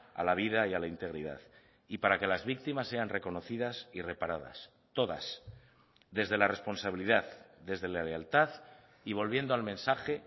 a la vida y a la integridad y para que las víctimas sean reconocidas y reparadas todas desde la responsabilidad desde la lealtad y volviendo al mensaje